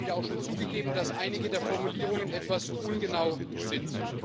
Die Kollegen haben ja auch schon zugegeben, dass einige der Formulierungen etwas ungenau sind.